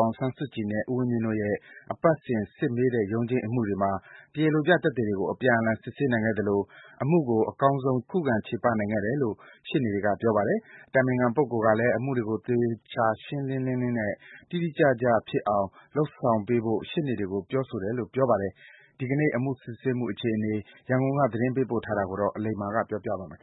ောင်ဆန်းစုကြည်နဲ့ ဦးဝင်းမြင့်တို့ရဲ့ အပတ်စဉ်စစ်မေးတဲ့ ရုံးချိန်းအ မှုတွေမှာ တရားလိုပြသက်သေတွေကိုအပြန်အလှန်စစ်ဆေးနိုင်ခဲ့သလို အမှုကို အကောင်းဆုံး ခုခံချေပ နိုင်ခဲ့တယ်လို့ ရှေ့နေတွေကပြောပါတယ်။ အတိုင်ပင်ခံကိုယ်တိုင်ကလည်းအမှုတွေကို သေချာရှင်းရှင်း လင်းလင်း နဲ့ တိတိကျကျဖြစ်အောင် လုပ်ဆောင်ပေးဖို့ရှေ့နေတွေကို ပြောဆိုတယ်လို့ ပြောပါတယ်။ ဒီကနေ့ အမှုစစ်ဆေးမှုအခြေအနေတွေ ရန်ကုန်က သတင်းပေးပို့ထားတာကို အလိမ္မာပြောပြပေးပါမယ်။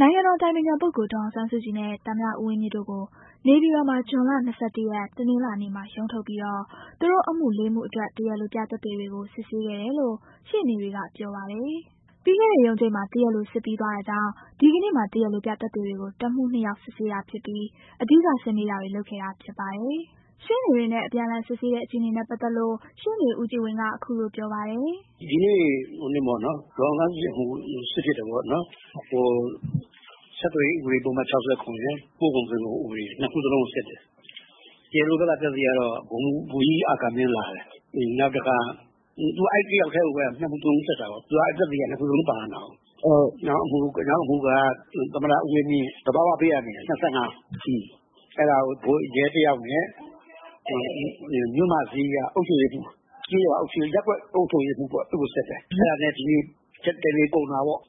နိုင်ငံတော် အတိုင်ပင်ခံ ပုဂ္ဂိုလ် ဒေါ်အောင်ဆန်းစုကြည်နဲ့ ဦးဝင်းမြင့်တို့ကို နေပြည်တော်မှာ ဇွန်လ ၂၁ ရက် တနင်္လာ နေ့ ရုံးထုတ်မှာတော့သူတို့ အမှု ၄ မှု အတွက် တရားလိုပြသက်သေတွေကို စစ်ဆေး ခဲ့ တယ်လို့ ရှေ့နေတွေကပြောပါတယ်။ ပြီးခဲ့တဲ့ ရုံးချိန်းမှာ တရားလို စစ်ပြီးသွားတာကြောင့် ဒီကနေ့မှာ တရားလိုပြ သက်သေတွေကို တစ်မှု နှစ်ယောက် စစ်တာဖြစ်ကာ အဓိက စစ်မေးတာတွေ လုပ်ခဲ့တာ ဖြစ်ပါတယ်။ ရှေ့နေတွေနဲ့ အပြန်အလှန် စစ်ဆေးတဲ့ အခြေအနေနဲ့ပတ်သတ်လို့ ရှေ့နေဦးကြည်ဝင်း ကအခုလိုပြောပြပါတယ်။ "ဒီနေ့ ဒေါ်အောင်ဆန်းစုကြည်အမှုစစ်ဖြစ်တယ်ပေါ့။ ဆက်သွယ်ရေးဥပဒေပုဒ်မ ၆၇ရယ်၊ ပို့ကုန်သွင်းကုန် ဥပဒေရယ် ၂ခုစလုံးကို စစ်တယ်။ တရားလိုဘက်က သက်သေက ဗိုလ်ကြီးအာကာမင်း လာတယ်။ အဲတယောက်ထဲကို ၂မှုစလုံးစစ်တာပေါ့။ သူကသက်သေ ၂ခုစလုံးပါနေတာကို။ နောက်အမှုက သမ္မတဦးဝင်းမြင့်ကောပေါ့ ။သဘာဝဘေး အန္တရာယ် ၂၅ အဲဒါကိုရဲတယောက်နဲ့ မြို့မဈေးက အုပ်ချုပ်ရေးမှုး။ ကျေးရွာ၊ ရပ်ကွက်အုပ်ချုပ်ရေးမှုးကိုစစ်တယ်။ အဲဒါနဲ့ ဒီနေ့တနေကုန်တာ ပေါ့."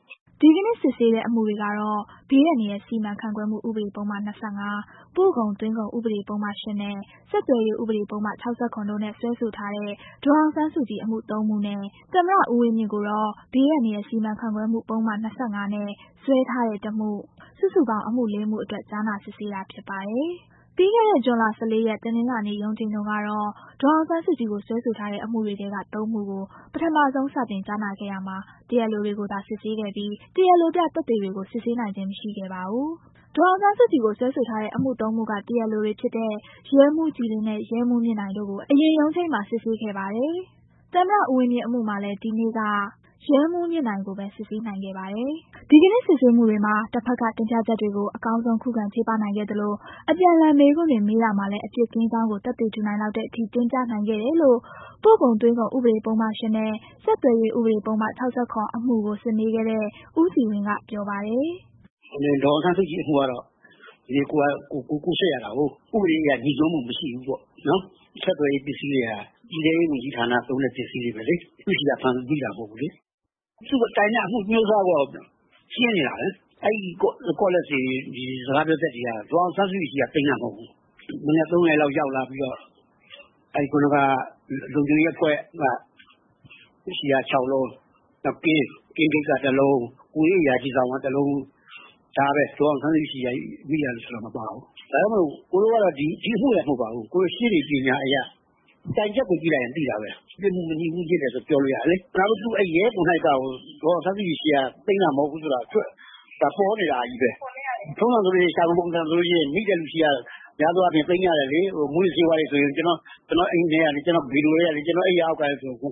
ဒီကနေ့စစ်ဆေးတဲ့ အမှုတွေကတော့ ဘေးအန္တရာယ် စီမံခန့်ခွဲမှု ဥပဒေ ပုဒ်မ ၂၅ ၊ ပို့ကုန်သွင်းကုန် ဥပဒေ ပုဒ်မ ၈ နဲ့ ဆက်သွယ်ရေး ဥပဒေ ပုဒ်မ ၆၇ တို့နဲ့ စွဲဆိုထားတဲ့ ဒေါ်အောင်ဆန်းစုကြည်အမှု ၃ မှု နဲ့ သမ္မတ ဦးဝင်းမြင့် ကိုတော့ ဘေးအန္တရာယ် စီမံခန့်ခွဲမှု ပုဒ်မ ၂၅ နဲ့ စွဲထားတဲ့ တစ်မှု စုစုပေါင်း အမှု ၄ မှု အတွက် ကြားနာ စစ်ဆေးတာဖြစ်ပါတယ်။ ပြီးခဲ့တဲ့ ဇွန်လ ၁၄ရက် တနင်္လာ၊ ပြီးခဲ့တဲ့ ရုံးချိန်းတုန်းကတော့ ဒေါ်အောင်ဆန်းစုကြည်ကို စွဲဆိုထားတဲ့ အမှုတွေထဲက သုံးမှုကို ပထမဆုံး စတင်ကြားနာခဲ့ရာမှာ တရားလိုတွေကိုသာ စစ်ဆေးခဲ့ပြီး တရားလိုပြ သက်သေတွေကို စစ်ဆေးနိုင်ခြင်း မရှိခဲ့ ပါဘူး။ ဒေါ်အောင်ဆန်းစုကြည်ကို စွဲဆိုထားတဲ့အမှု ၃ မှုက တရားလိုတွေဖြစ်တဲ့ ရဲမှူးကြည်လင်း နဲ့ ရဲမှူးမြင့်နိုင် တို့ကို အရင်ရုံးချိန်းမှာ စစ်ဆေးခဲ့ပါတယ်။သမ္မတ ဦးဝင်းမြင့် အမှုမှာလည်း အဲနေ့က ရဲမှူးမြင့်နိုင် ကိုဘဲစစ်နိုင်ခဲ့ပါတယ်။ ဒီကနေ့စစ်ဆေးမှုတွေမှာ တဖက်က တင်ပြချက်တွေကို အကောင်းဆုံးခုခံချေပနိုင်ခဲ့သလို အပြန်အလှန် မေးခွန်းတွေမေးတာမှာလဲ အပြစ်ကင်းကြောင်းကို သက်သေထူနိုင်လောက်တဲ့ အထိ တင်ပြနိုင်ခဲ့တယ် လို့ ပို့ကုန်သွင်းကုန် ဥပဒေ ပုဒ်မ ၈ နဲ့ ဆက်သွယ်ရေး ဥပဒေ ပုဒ်မ ၆၇ အမှုကို စစ်မေးခဲ့တဲ့ ဦးကြည်ဝင်း ကပြောပါတယ်။ "ဒေါ်အောင်ဆန်းစုကြည်အမှုကတော့ဒီနေ့ကိုယ်စစ်ရတာကို ကိုယ်စစ်တဲ့ အခါကျတော့ ဥပဒေ အရ ငြိစွန်းမှုမရှိဘူးပေ့ါ။ ဆက်သွယ်ရေးပစ္စည်းတွေက ပြည်ထဲရေးဌာနသုံး တာတွေဘဲလေ။ သူ့ဆီကမိတာမဟူတ်ဘူးလေ။ တိုင်တဲ့ အမျိုးအစားပေါ်ရှင်းနေတာဘဲလေ။ အဲဒါ တွေကို ဒေါ်အောင်ဆန်းစုကြည်ဆီကသိမ်းတာမဟုတ်ဘူး။ မနက် ၃နာရီလောက်ရောက်ပြီးတော့ လုံခြုံရေးအဖွဲ့ဆီက ၆လုံး နောက်ကင်းဂိတ်ကတလုံး ကိုယ်ရေးအရာရှိဆောင်က တလုံး ဒါဘဲ။ ဒေါ်အောင်ဆန်းစုကြည်ဆီကသိမ်းတာမပါဘူး။ ဒါကြောင့်မို့ ဒီအမှုတင်မဟုတ်ဘူး။ ရှေ့နေပညာ အရ သိနေတာဘဲ။ ပြစ်မှုကင်းမကင်းသိတယ်လေ။ နောက်ရဲကိုယ်တိုင်ကကိုယ် ဒေါ်အောင်ဆန်းစုကြည်ဆီ ကသိမ်းမသိမ်းကိုပေါ်တာဘဲ။ ထုံးစံအရဆို မူးယစ်ဆေးတွေမိရင် ရှာဖွေပုံစံနဲ့သိမ်းကြတယ်လေ။ဒါကကျနော့် အိမ်ထဲက၊ ကုတင်ဆီကစသဖြင့်သိမ်းကြရတယ်။ ခုက သူတို့ရဲတွေကသူတို့ဘာ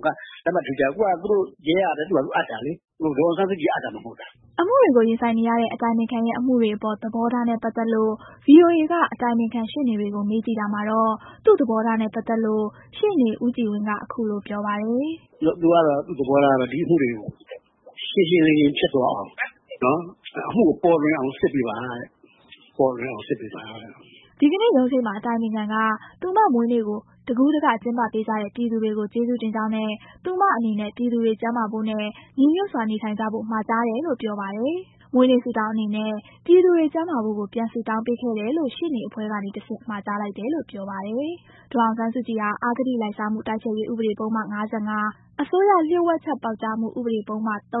သာအပ်တာလေ။ ဒေါ်အောင်ဆန်းစုကြည်အပ်တာမှမဟုတ်တာ။" အမှုတွေကိုရင်ဆိုင်နေရတဲ့ အတိုင်ပငိခံရဲ့ အမှုတွေအပေါ်သဘောထားနဲ့ပတ်သတ်လို့ဗွီအိုအေက အတိုင်ပင်ခံရှေ့နေတွေကိုမေးကြည့်တာမှာတော့ သူ့သဘောထားနဲ့ပတ်သတ်လို့ ရှေ့နေဦးကြည်ဝင်းက အခုလိုပြောပါတယ်။ "သူကတော့သူ့သဘောထားကတော့ ဒီအမှုတွေကို ရှင်းရှင်းလင်းလင်းဖြစ်သွား အောင် အမှုကိုပေါ်လွင်အောင်စစ်ပေးပါတဲ့ ပေါ်လွင်အောင်စစ်ပေးပါတဲ့။" ဒီကနေ့ ရုံးချိန်းမှာ အတိုင်ပင်ခံက သူမမွေးနေ့ကို တကူးတက ကျင်းပပေးကြတဲ့ ပြည်သူတွေကိုကျေး ဇူးတင်ကြောင်းနဲ့ သူမအနေနဲ့ ပြည်သူတွေကျန်းမာဖို့နဲ့ ညီညွှတ်စွာနေထိုင်ကြဖို့ မှာကြားတယ်လို့ ပြောပါတယ်။ မွေးနေ့ ဆုတောင်းအနေနဲ့ ပြည်သူတွေ ကျန်းမာဖို့ကို ပြန်ဆုတောင်းပေးခဲ့တယ်လို့ ရှေ့နေအဖွဲ့ကနေတဆင့် မှာကြားလိုက်တယ်လို့ ပြောပါတယ်။ ဒေါ်အောင်ဆန်းစုကြည်ဟာ အဂတိလိုက်စားမှု တိုက်ဖျက်ရေးဥပဒေပုဒ်မ ၅၅၊ အစိုးရလျှို့ဝှက် ချက်ပေါက် ကြားမှုဥပဒေပုဒ်မ ၃ (၁) (ဂ)၊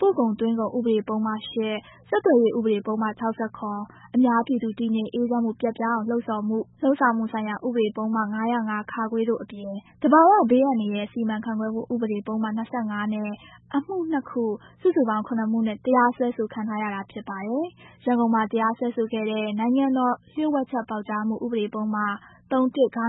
ပို့ကုန်သွင်းကုန်ဥပဒပုဒ်မ ၈ ၊ ဆက်သွယ်ရေး ဥပဒေ ပုဒ်မ ၆၇ ၊ အများပြည်သူ တည်ငြိမ်အေးချမ်းမှု ပျက်ပြားအောင်လှုံဆော်မှု လုပ်ဆောင်မှုဆိုင်ရာ ဥပဒေပုဒ်မ ၅၀၅(ခ)၊ တို့ အပြင် သဘာဝ ဘေးအန္တရာယ် စီမံခန့်ခွဲမှု ဥပဒေ ပုဒ်မ ၂၅ နဲ့ အမှု ၂ ခု၊ စုစုပေါင်း ၇ မှုနဲ့ တရားစွဲခံထားရပါတယ်။ ရန်ကုန်မှာ တရားစွဲခဲ့တဲ့ နိုင်ငံတော်လျှို့ဝှက်ချက်ပေါက် ကြားမှု ဥပဒေပုဒ်မ ၃(၁) (ဂ)ကို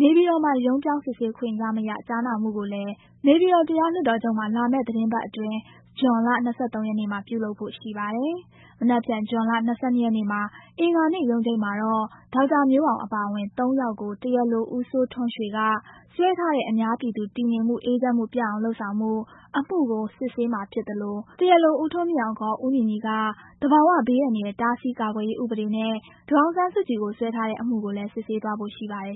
နေပြည်တော်မှာ ရုံးပြောင်း စစ်ဆေးခွင့်ရမရ ကြားနာမှုကိုလည်း နေပြည်တော်တရားလွှတ်တော်ချုပ်မှာ လာမယ့် သီတင်းပတ်အတွင်း ဇွန်လ ၂၃ ရက်နေ့မှာပြုလုပ်ဖို့ ရှိနေပါတယ်။ မနက်ဖန် ဇွန်လ ၂၂ ရက်နေ့ အင်္ဂါနေ့ရုံးချိန်းမှာတော့ ဒေါက်တာမျိုးအောင် အပါအဝင် ၃ယောက်ကို တရားလို ဦးစိုးထွန်းရွှေက စွဲထားတဲ့ အများပြည်သူတည် ငြိမ်မှုအေးချမ်းမှု ပျက်အောင် လုပ်ဆောင်မှု၊ အမှုကို စစ်ဆေးမှာ ဖြစ်သလို၊တရားလို ဦးထွန်းမြင့်အောင် ခေါ် ဦးညီညီက သဘာဝဘေးအန္တရာယ် တားဆီးကာကွယ်ရေး ဥပဒေနဲ့ ဒေါ်အောင်ဆန်းစုကြည်ကို စွဲထားတဲ့ အမှုကိုလည်း စစ်ဆေးသွားဖို့ ရှိ ပါတယ်